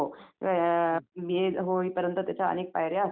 यात्रा म्हणजे आता लहान मुलांसाठी वगैरे